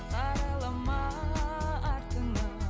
қарайлама артыңа